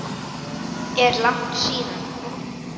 Er langt síðan?